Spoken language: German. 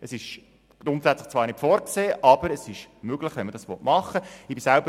Es ist grundsätzlich zwar nicht vorgesehen, aber es ist möglich, wenn man das machen will.